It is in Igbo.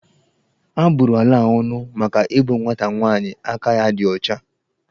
A bụrụ ala a ónù maka igbu nwata nwaanyi aka ya dị ya ọcha.